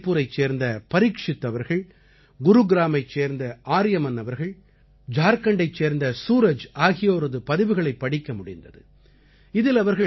இதே போல ராய்புரைச் சேர்ந்த பரீக்ஷித் அவர்கள் குருகிராமைச் சேர்ந்த ஆர்யமன் அவர்கள் ஜார்க்கண்டைச் சேர்ந்த சூரஜ் ஆகியோரது பதிவுகளைப் படிக்க முடிந்தது